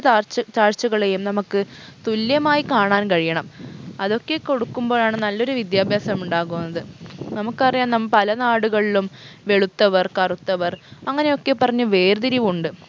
താഴ്ച താഴ്ചകളെയും നമക്ക് തുല്യമായ് കാണാൻ കഴിയണം അതൊക്കെ കൊടുക്കുമ്പോഴാണ് നല്ലൊരു വിദ്യാഭ്യാസം ഉണ്ടാകുന്നത് നമുക്കറിയാം നമ്മ പല നാടുകളിലും വെളുത്തവർ കറുത്തവർ അങ്ങനെയൊക്കെ പറഞ്ഞ് വേർതിരിവുണ്ട്